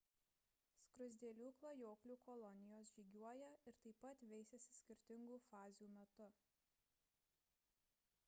skruzdėlių klajoklių kolonijos žygiuoja ir taip pat veisiasi skirtingų fazių metu